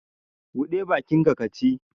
Buɗe bakinka ka ci!